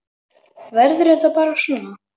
Verður þetta bara svona?